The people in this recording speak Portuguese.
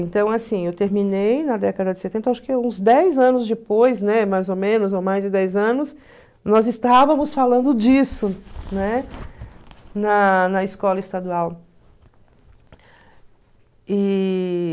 Então, assim, eu terminei na década de setenta, acho que uns dez anos depois, né, mais ou menos, ou mais de dez anos, nós estávamos falando disso, né, na na escola estadual. E...